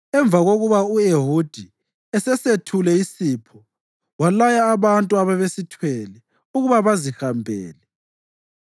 Emva kokuba u-Ehudi esesethule isipho, walaya abantu ababesithwele ukuba bazihambele.